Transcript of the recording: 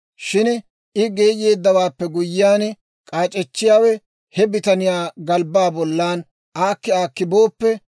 Shin I geeyeeddawaappe guyyiyaan, k'aac'echchiyaawe he bitaniyaa galbbaa bollan aakki aakki booppe,